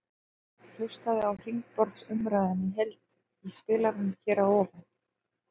Hlustaðu á hringborðsumræðuna í heild í spilaranum hér að ofan.